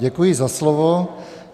Děkuji za slovo.